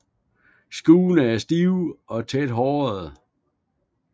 Skuddene er stive og tæt hårede